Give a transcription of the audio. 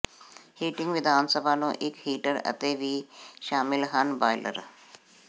heating ਵਿਧਾਨ ਸਭਾ ਨੂੰ ਇੱਕ ਹੀਟਰ ਅਤੇ ਵੀ ਸ਼ਾਮਲ ਹਨ ਬਾਇਲਰ